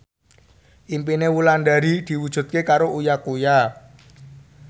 impine Wulandari diwujudke karo Uya Kuya